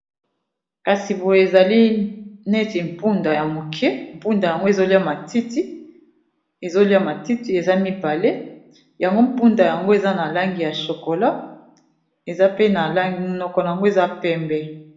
Kasi boye ezali neti mpunda ya moke mpunda yango ezolia matiti eza mibale yango mpunda yango eza na langi ya chokola eza pe na langi munoko nango eza pembe.